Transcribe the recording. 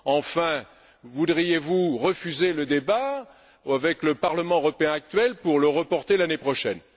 Enfin, refuseriez vous le débat avec le Parlement européen actuel pour le reporter l'année prochaine?